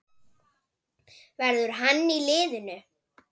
Verður hann í liðinu?